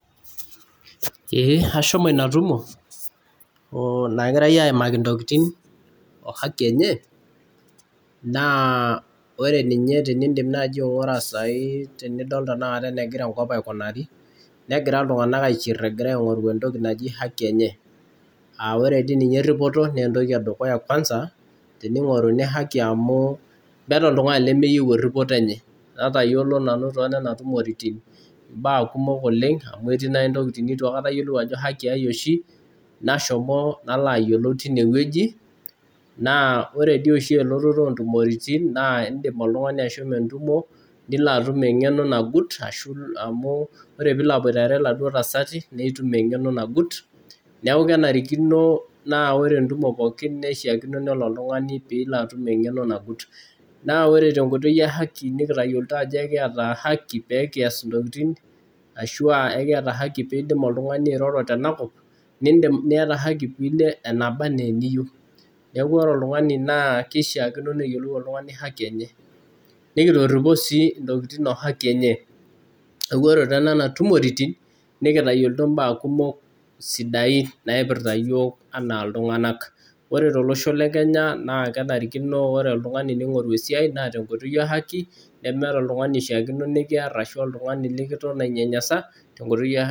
Ee ashomo Ina tumo, nagirae aaimaki ntokitin,o hako enye. naa ore ninye tenidim naaji aigura sai tenidol tenakata enegira enkop aikunari, megira iltunganak aishie egira aing'oru entoki naji haki enye.aa ore sii ninye eripito naa entoki edukuya kuamsa. teningoruni haki amu, meeta oltungani lemeyieu eripoto enye. natayiolp nanu too nema tumorotin, imbaa kumok oleng amu etii ntokitin neitu ayiolou ajo haki ai oshi, Nashomo nalo ayiolu teine wueji. naa ore dii oshi elototo oo ntumoritin naa idim oltungani ashomo entumo, nilo atum eng'eno nagut. amu ore pee ilo aboitare iladuoo tasati naa itum engeno nagut. neekh kenarikino, naa ore entumo pokin keishaakino nelo oltungani, pee ilo atum eng'eno nagut. naa ore te nkoitoi e haki, nikitayoloito ajo ekiata haki, pee kias ntokitin ashu ekiata haki pee idim oltungani airoro tene kop. niata haki pee ilo enaa oltungani keishaakino neyiolou oltungani haki enye Neeku ore. tenena tumorotin nikitayolo. mbaa kumok naipirta iyiook anaa iltunganak. ore tolosho le Kenya kenarikino anaa oltungani, ningoru esiai naa tenkooitoi e haki, nemeeta oltungani oshipakino nikiar, ashu oltungani likiton ainyanyasa.